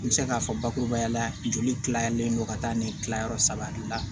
N bɛ se k'a fɔ bakurubaya la joli tilalen don ka taa ni kilayɔrɔ saba de la